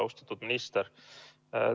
Austatud minister!